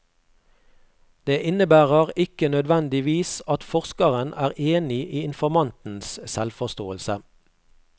Det innebærer ikke nødvendigvis at forskeren er enig i informantens selvforståelse.